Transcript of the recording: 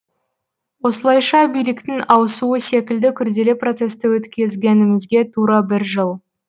осылайша биліктің ауысуы секілді күрделі процесті өткізгенімізге тура бір жыл